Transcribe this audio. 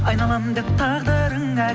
айналамын деп тағдырыңа